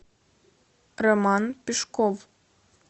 роман пешков